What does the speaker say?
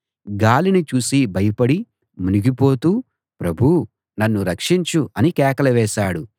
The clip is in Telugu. గాలిని చూసి భయపడి మునిగిపోతూ ప్రభూ నన్ను రక్షించు అని కేకలు వేశాడు